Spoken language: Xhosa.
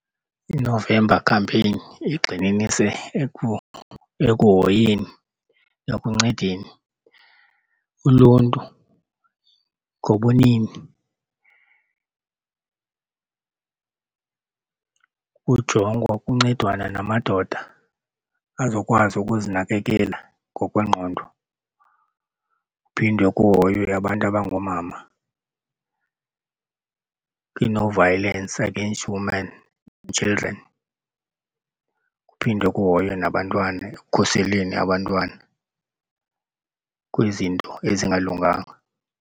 INovember Campaign igxininise ekuhoyeni ekuncedeni uluntu ngobunini, kujongwa kuyancedwana namadoda azokwazi ukuzinakekela ngokwengqondo kuphinde kuhoywe abantu abangoomama kwi-No Violence against Women and Children. Kuphinde kuhoywe nabantwana ekukhuseleni abantwana kwizinto ezingalunganga.